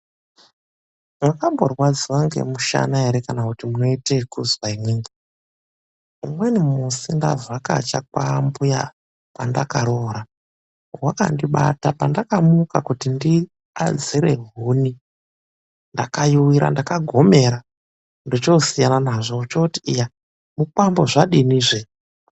Mwakamborwadziwa ngemushana here kana kuti munoitwa kuzwa imwimwi. Umweni musi ndavhakacha kwaambuya kwandakaroora wakandibata pandamuka kuti ndiadzire huni ndakayuwira ndakagomera ndochosiyana nazvo. Ochooti iya mukwambo zvadini zvee.